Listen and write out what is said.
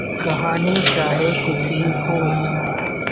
कहानी चाहे कुछ भी हो